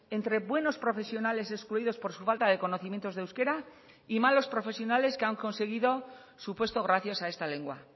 entre buenos profesionales excluidos por su falta de conocimientos de euskera y malos profesionales que han conseguido su puesto gracias a esta lengua